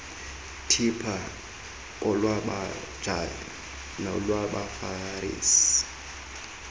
tipha kolwababhaji nolwabafarisi